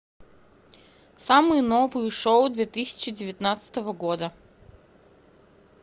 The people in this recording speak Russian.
самые новые шоу две тысячи девятнадцатого года